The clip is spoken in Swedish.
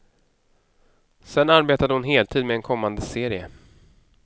Sedan arbetade hon heltid med en kommande serie.